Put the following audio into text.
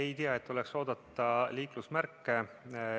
Ei tea, et oleks oodata liiklusmärke.